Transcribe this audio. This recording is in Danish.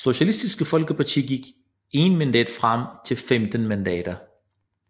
Socialistisk Folkeparti gik 1 mandat frem til 15 mandater